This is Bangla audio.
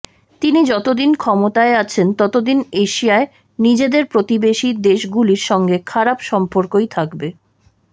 তিনি যতদিন ক্ষমতায় আছেন ততদিন এশিয়ায় নিজেদের প্রতিবেশী দেশগুলির সঙ্গে খারাপ সম্পর্কই থাকবে